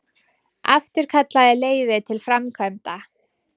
Afturkallaði leyfi til framkvæmda